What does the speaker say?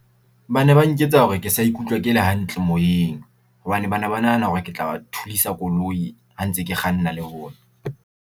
Ba ne ba nketsa hore ke sa ikutlwa ke le hantle moyeng, hobane ba ne ba nahana hore ke tla ba thulisa koloi ha ntse ke kganna le bona.